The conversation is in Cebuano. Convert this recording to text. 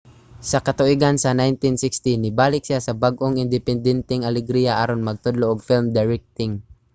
sa katuigan sa 1960 nibalik siya sa bag-ong independenteng alegria aron magtudlo og film directing